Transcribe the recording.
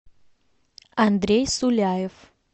андрей суляев